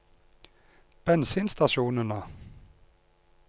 bensinstasjonene